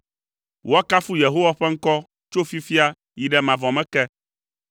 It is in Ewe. Woakafu Yehowa ƒe ŋkɔ tso fifia yi ɖe mavɔ me ke.